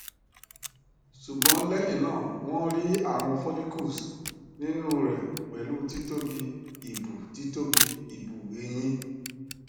sugbon lẹ́hìn náà won ri awon follicles ninu re pẹ̀lú títóbi ibù títóbi ibù eyín